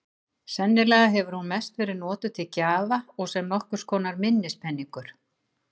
Sennilega hefur hún mest verið notuð til gjafa og sem nokkurs konar minnispeningur.